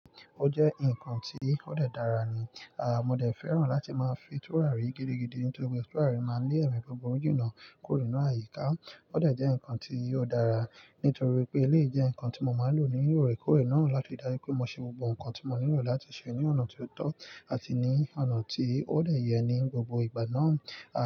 O jẹ́ ǹkan tí ó dẹ́ dára ni. À, mo dẹ̀ fẹ́ràn láti máa fin tùràrí gídígidí nítorí pé tùràrí máa ń ní ẹ̀mí buburu jinna kuro ninú àyíká. Ó dẹ̀ jẹ́ ǹkan tí ó dára nítorí pé eleyii jẹ́ ǹkan tí mo máa ń lò ní òrèkóòrè náà láti dáju rí pé mo ṣe gbogbo ǹkan tí mo nílò láti ṣe ní ọ̀nà tí ó tọ́ àti ní ọ̀nà tí ó dẹ́ yẹ ní gbogbo ìgbà náà.